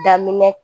Daminɛ